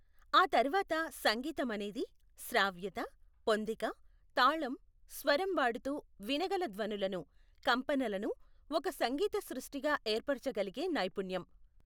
ఆ తర్వాత సంగీతం అనేది, శ్రావ్యత, పొందిక, తాళం, స్వరం వాడుతూ, వినగల ధ్వనులను, కంపనలను ఒక సంగీత సృష్టిగా ఏర్పరచగలిగే నైపుణ్యం.